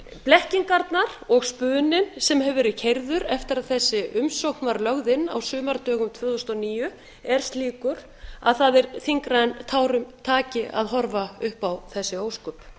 blekkingarnar og spuninn sem hefur verið keyrður eftir að þessi umsókn var lögð inn á sumardögum tvö þúsund og níu er slíkur að það er þyngra en tárum taki að horfa upp á þessi ósköp